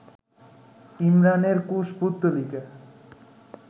ইমরানের কুশপুত্তলিকা